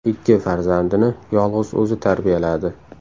Ikki farzandini yolg‘iz o‘zi tarbiyaladi.